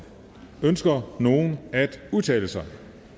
ønsker nogen at udtale sig da